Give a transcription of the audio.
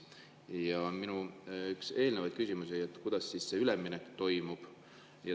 Üks minu eelnevaid küsimusi oli see, kuidas see üleminek toimub.